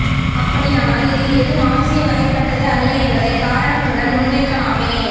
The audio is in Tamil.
அப்படியானால் இதில் எது மார்க்சிய வகைப்பட்டது அல்ல என்பதை காரணத்துடன் முன்வைக்கலாமே